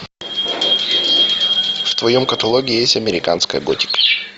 в твоем каталоге есть американская готика